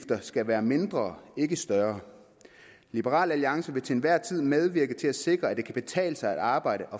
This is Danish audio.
skal være mindre ikke større liberal alliance vil til enhver tid medvirke til at sikre at det kan betale sig at arbejde